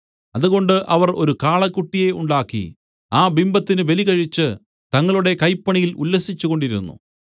അതുകൊണ്ട് അവർ ഒരു കാളക്കുട്ടിയെ ഉണ്ടാക്കി ആ ബിംബത്തിന് ബലികഴിച്ച് തങ്ങളുടെ കൈപ്പണിയിൽ ഉല്ലസിച്ചുകൊണ്ടിരുന്നു